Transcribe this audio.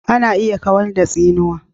ana iya kawar da tsinuwa